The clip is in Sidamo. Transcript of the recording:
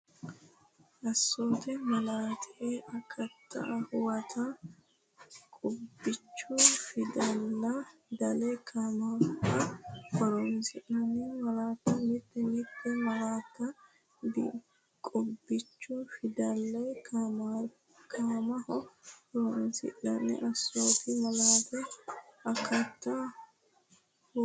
Assoote Malaattate akatta huwata Qubbichu fidale kaimaho horoonsidhanno malaatta Mite mite malaatta qubbichu fidale kaimaho horoonsidhanno Assoote Malaattate akatta huwata.